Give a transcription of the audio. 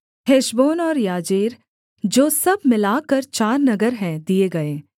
Heshbon और Jazer जो सब मिलाकर चार नगर हैं दिए गए